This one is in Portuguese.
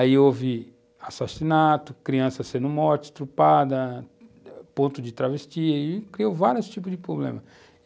Aí houve assassinato, criança sendo morta, estrupada, ponto de travesti e criou vários tipos de problemas.